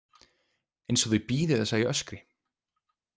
Eins og þau bíði þess að ég öskri.